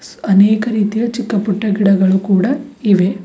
ಅನೇಕ ರೀತಿಯ ಚಿಕ್ಕ ಪುಟ್ಟ ಗಿಡಗಳು ಕೂಡ ಇವೆ.